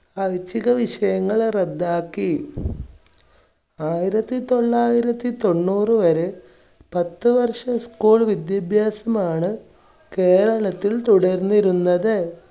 ഐച്ഛിക വിഷയങ്ങൾ റദ്ദാക്കി. ആയിരത്തി തൊള്ളായിരത്തി തൊണ്ണൂറ് വരെ പത്ത് വർഷം school വിദ്യാഭ്യാസമാണ് കേരളത്തിൽ തുടർന്നിരുന്നത്.